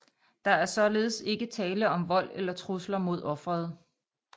Der er således ikke tale om vold eller trusler mod offeret